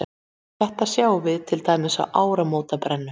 Þetta sjáum við til dæmis á áramótabrennum.